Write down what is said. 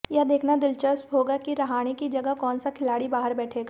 यह देखना दिलचस्प होगा कि रहाणे की जगह कौनसा खिलाड़ी बाहर बैठेगा